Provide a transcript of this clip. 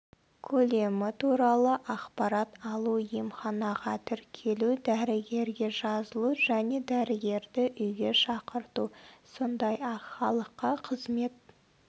көлемі туралы ақпарат алу емханаға тіркелу дәрігерге жазылу және дәрігерді үйге шақырту сондай-ақ халыққа қызмет